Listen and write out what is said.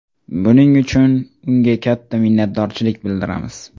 Buning uchun unga katta minnatdorchilik bildiramiz”.